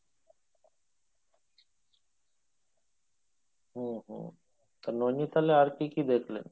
হম হম তো নৈনিতালে আর কী কী দেখলেন?